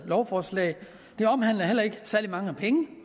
lovforslag det omhandler heller ikke særlig mange penge